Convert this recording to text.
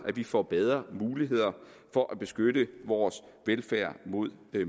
vi får bedre muligheder for at beskytte vores velfærd mod